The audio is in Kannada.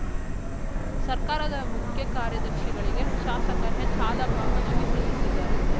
ಸರ್ಕಾರದ ಮುಖ್ಯ ಕಾರ್ಯದರ್ಶಿಗಳಿಗೆ ಶಾಸಕ ಎಚ್‌ಹಾಲಪ್ಪ ಮನವಿ ಸಲ್ಲಿಸಿದರು